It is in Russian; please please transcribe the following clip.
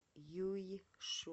юйшу